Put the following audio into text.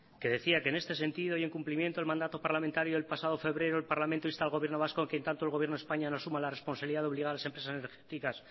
que decía que en este sentido y en cumplimiento del mandato parlamentario el pasado febrero el parlamento insta al gobierno vasco a que en tanto el gobierno de españa no asuma la responsabilidad de obligar a las empresas energéticas